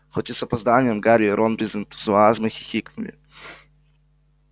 хоть и с опозданием гарри и рон без энтузиазма хихикнули